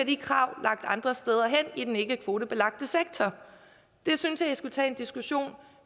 de krav lagt andre steder hen i den ikkekvotebelagte sektor det synes jeg man skulle tage en diskussion